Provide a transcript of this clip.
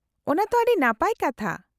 -ᱚᱱᱟ ᱛᱚ ᱟᱹᱰᱤ ᱱᱟᱯᱟᱭ ᱠᱟᱛᱷᱟ ᱾